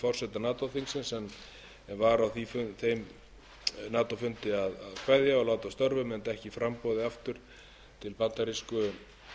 forseta nato þingsins en var á þeim nato fundi að kveðja og láta af störfum enda ekki í framboði aftur